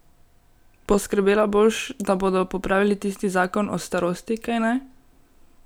Poskrbela boš, da bodo popravili tisti zakon o starosti, kajne?